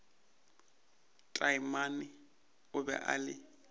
taamane o be a le